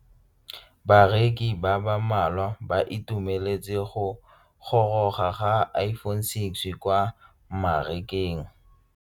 Bareki ba ba malwa ba ituemeletse go gôrôga ga Iphone6 kwa mmarakeng.